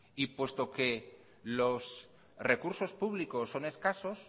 y puesto que los recursos públicos son escasos